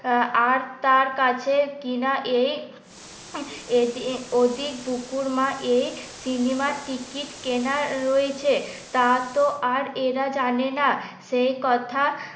আর তার কাছে কিনা এই এদিক ওদিক বুকুর মা সিনেমার টিকিট কেনার রয়েছে তা তো আর এরা জানে না সে কথা